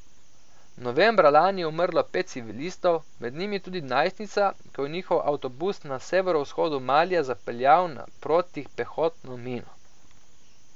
Novembra lani je umrlo pet civilistov, med njimi tudi najstnica, ko je njihov avtobus na severovzhodu Malija zapeljal na protipehotno mino.